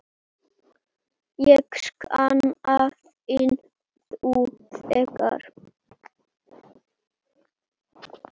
Ég sakna þín nú þegar.